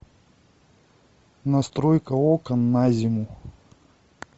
настройка окон на зиму